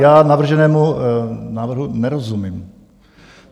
Já navrženému návrhu nerozumím.